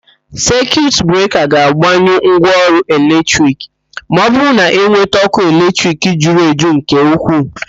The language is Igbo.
Sekiut breka ga-agbanyụ ngwaọrụ eletrik ma ọbụrụ na eweta ókụ́ eletrik juru eju nke ukwuu.